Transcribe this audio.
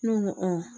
Ne ko n ko